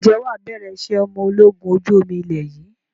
Ǹjẹ́ wà bẹ̀rẹ̀ ìṣe ọmọ ológun ojú omi ilé yìí?